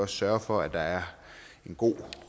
sørge for at der er en god